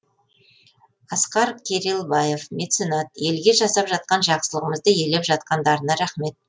асқар керелбаев меценат елге жасап жатқан жақсылығымызды елеп жатқандарына рақмет